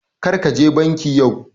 Karka je banki yau